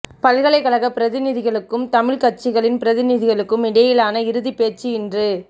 பல்கலைக்கழக பிரதிநிதிகளுக்கும் தமிழ் கட்சிகளின் பிரதிநிதிகளுக்கும் இடையிலான இறுதி பேச்சு இன்று